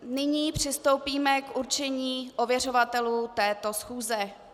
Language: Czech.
Nyní přistoupíme k určení ověřovatelů této schůze.